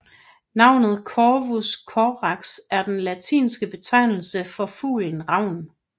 Navnet Corvus Corax er den latinske betegnelse for fuglen ravn